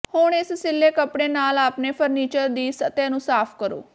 ਹੁਣ ਇਸ ਸਿੱਲ੍ਹੇ ਕੱਪੜੇ ਨਾਲ ਆਪਣੇ ਫਰਨੀਚਰ ਦੀ ਸਤਹ ਨੂੰ ਸਾਫ਼ ਕਰੋ